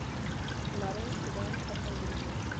нарой сериал проповедник